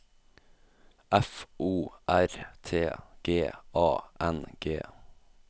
F O R T G A N G